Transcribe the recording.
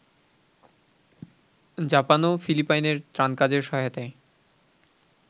জাপানও ফিলিপাইনে ত্রাণকাজের সহায়তায়